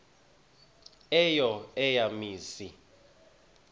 eyo eya mizi